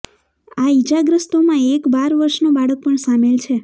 આ ઈજાગ્રસ્તોમાં એક બાર વર્ષનો બાળક પણ સામેલ છે